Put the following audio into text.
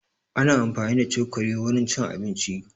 Ana amfani da cokali wurin cin abinci